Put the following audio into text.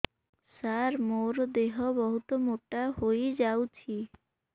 ସାର ମୋର ଦେହ ବହୁତ ମୋଟା ହୋଇଯାଉଛି